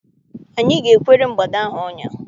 Anyị ga- ekwere mgbada ahụ ọnya.